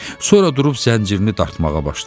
Sonra durub zəncirini dartmağa başladı.